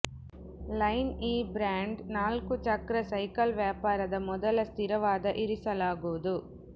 line ಈ brand ನಾಲ್ಕು ಚಕ್ರ ಸೈಕಲ್ ವ್ಯಾಪಾರದ ಮೊದಲ ಸ್ಥಿರವಾದ ಇರಿಸಲಾಗುವುದು